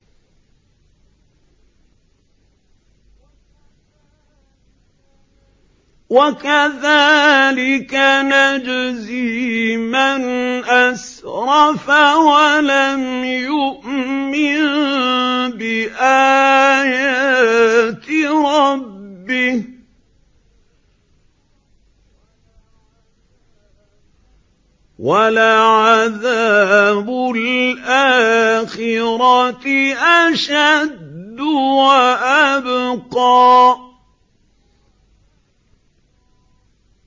وَكَذَٰلِكَ نَجْزِي مَنْ أَسْرَفَ وَلَمْ يُؤْمِن بِآيَاتِ رَبِّهِ ۚ وَلَعَذَابُ الْآخِرَةِ أَشَدُّ وَأَبْقَىٰ